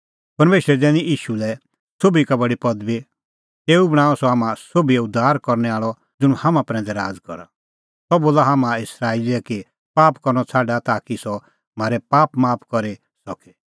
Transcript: परमेशरै दैनी ईशू लै सोभी का बडी पदबी तेऊ बणांअ सह हाम्हां सोभिओ उद्धार करनै आल़अ ज़ुंण हाम्हां प्रैंदै राज़ करे सह बोला हाम्हां इस्राएली लै कि पाप करनअ छ़ाडा ताकि सह म्हारै पाप माफ करी सके